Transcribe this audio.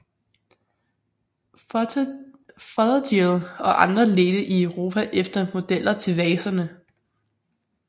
Fothergill og andre ledte i Europa efter modeller til vaserne